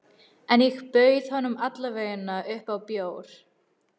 En ég bauð honum alla vega upp á bjór.